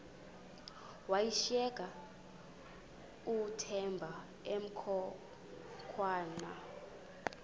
washiyeka uthemba emhokamhokana